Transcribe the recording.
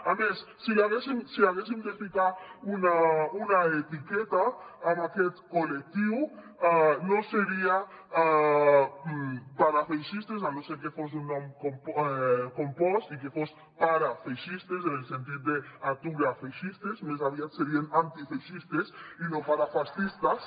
a més si haguéssim de ficar una etiqueta a aquest col·lectiu no seria parafeixistes a no ser que fos un nom compost i que fos para feixistes en el sentit d’atura feixistes més aviat serien antifeixistes i no parafascistas